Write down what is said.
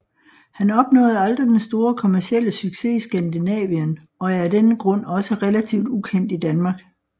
Han opnåede aldrig den store kommercielle succes i Skandinavien og er af denne grund også relativt ukendt i Danmark